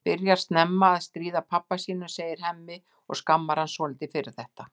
Hann byrjar snemma að stríða pabba sínum, segir Hemmi og skammar hann svolítið fyrir þetta.